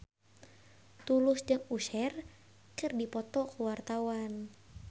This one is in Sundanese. Tulus jeung Usher keur dipoto ku wartawan